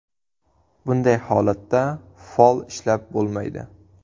Bunday holatda fol ishlab bo‘lmaydi.